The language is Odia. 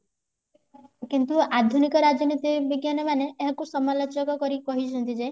କିନ୍ତୁ ଆଧୁନିକ ରାଜନୀତି ବିଜ୍ଞାନ ମାନେ ଏହାକୁ ସମାଲୋଚକ କରି କହିଚନ୍ତି ଯେ